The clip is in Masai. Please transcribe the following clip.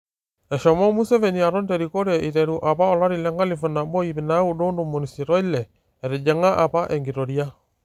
eshomo Museveni aton terikore iteru apa 1986, etjing'a apa enkitoria